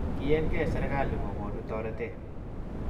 kiienkei serkali kokonu toretee